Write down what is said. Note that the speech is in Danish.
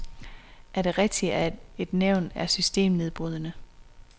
Er det rigtigt at et nævn er systembrydende?